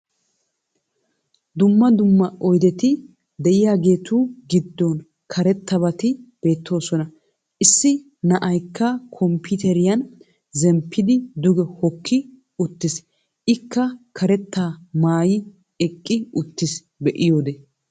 dumma dumma oydetti diyageetu giddon karetabati beetoosona. issi na'aykka kompiiteriyan zemppidi duge hookki uttis. ikka karetaa maayi eqqi uttis be'iyode.